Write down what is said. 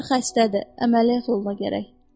Qarı xəstədir, əməliyyat olunma gərək.